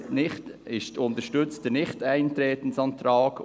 Die EDU unterstützt den Nichteintretensantrag.